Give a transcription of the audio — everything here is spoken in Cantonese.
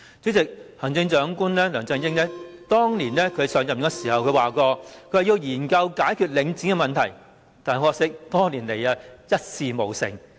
主席，行政長官梁振英當年上任時曾說要研究解決領展的問題，但很可惜，多年來一事無成。